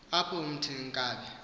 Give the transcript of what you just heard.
apho umthunzini inkabi